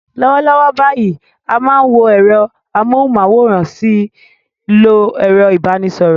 Lọ́wọ́lọ́wọ́ báyìí, a máa ń wo ẹ̀rọ amóhùnmáwòrán a sì ń lo ẹ̀rọ ìbánisọ̀rọ̀